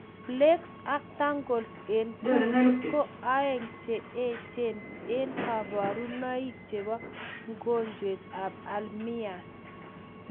Plaques ak tangles eng kundit koo aeng che echen eng kabarunaik cheboo mogonjwet ab alzhemiers